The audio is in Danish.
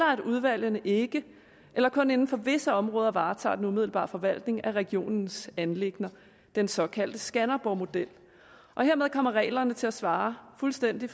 og at udvalgene ikke eller kun inden for visse områder varetager den umiddelbare forvaltning af regionens anliggender den såkaldte skanderborgmodel og hermed kommer reglerne til at svare fuldstændig